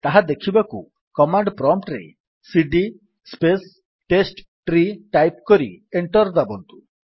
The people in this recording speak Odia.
ତାହା ଦେଖିବାକୁ କମାଣ୍ଡ୍ ପ୍ରମ୍ପ୍ଟ୍ ରେ ସିଡି ସ୍ପେସ୍ ଟେଷ୍ଟଟ୍ରୀ ଟାଇପ୍ କରି ଏଣ୍ଟର୍ ଦାବନ୍ତୁ